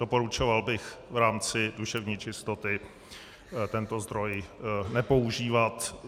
Doporučoval bych v rámci duševní čistoty tento zdroj nepoužívat.